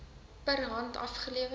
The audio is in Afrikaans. per hand afgelewer